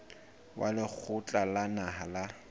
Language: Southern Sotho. wa lekgotla la naha la